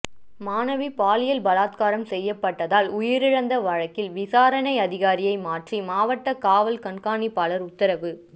மாணவி பாலியல் பலாத்காரம் செய்யப்பட்டதால் உயிரிழந்த வழக்கில் விசாரணை அதிகாரியை மாற்றி மாவட்ட காவல் கண்காணிப்பாளர் உத்தரவு